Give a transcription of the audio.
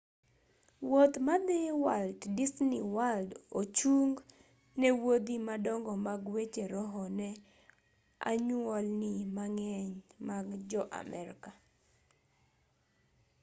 wuoth madhi walt disney world ochung' ne wuodhi madongo mag weche roho ne anyuolni mang'eny mag jo-amerka